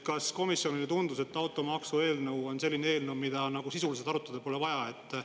Kas komisjonile tundus, et automaksu eelnõu on selline eelnõu, mida nagu sisuliselt arutada pole vaja?